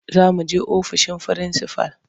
Za muje ofishin frinsifal.